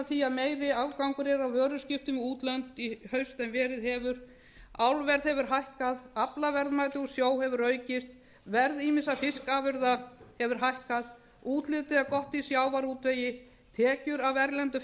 því að meiri afgangur er á vöruviðskiptum við útlönd í haust en verið hefur álverð hefur hækkað aflaverðmæti úr sjó hefur aukist verð ýmissa fiskafurða hefur hækkað útlitið er gott í sjávarútvegi tekjur af erlendum